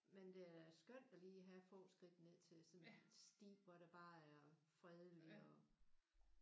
Men det er da skønt at lige have få skridt ned til sådan en sti hvor der bare er fredeligt og